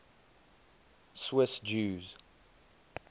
swiss jews